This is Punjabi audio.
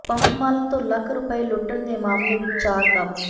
ਪੰਪ ਮਾਲਕ ਤੋਂ ਲੱਖ ਰੁਪਏ ਲੁੱਟਣ ਦੇ ਮਾਮਲੇ ਵਿੱਚ ਚਾਰ ਕਾਬੂ